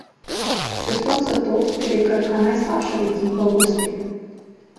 Še sploh zato, ker je Krka najslabša ekipa v gosteh.